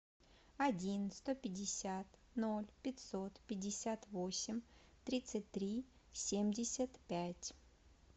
один сто пятьдесят ноль пятьсот пятьдесят восемь тридцать три семьдесят пять